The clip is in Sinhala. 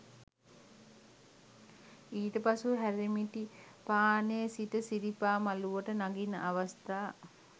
ඊට පසු හැරමිටිපානේ සිට සිරිපා මළුවට නගින අවස්ථාව